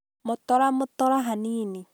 Motora motora hanini